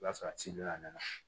O y'a sɔrɔ a ci donna ne na